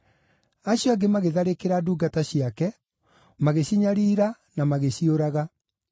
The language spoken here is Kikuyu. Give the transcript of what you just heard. Acio angĩ magĩtharĩkĩra ndungata ciake, magĩcinyariira na magĩciũraga.